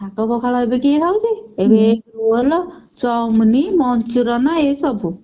ଶାଗ ପଖାଳ ଏବେ କିଏ ଖାଉଛି? ଏବେ ଏଇ roll chowmien manchurian ଏଇ ସବୁ।